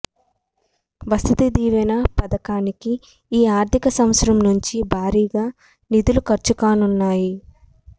వసతి దీవెన పథకానికి ఈ ఆర్థిక సంవత్సరం నుంచి భారీగా నిధులు ఖర్చు కానున్నాయి